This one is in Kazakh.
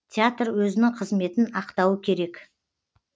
театр өзінің қызметін ақтауы керек